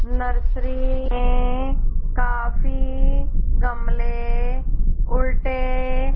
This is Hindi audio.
नर्सरी काफी गमले उल्टे--